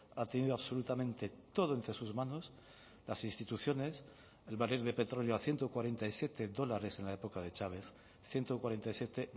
ha tenido absolutamente todo entre sus manos las instituciones el barril de petróleo a ciento cuarenta y siete dólares en la época de chávez ciento cuarenta y siete